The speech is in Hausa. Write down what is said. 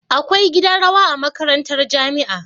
Akwai gidan rawa a makarantar jamia